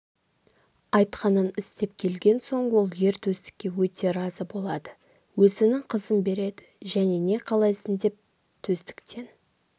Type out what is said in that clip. айтқанын істеп келген соң ол ер төстікке өте разы болады өзінің қызын береді және не қалайсың деп төстіктен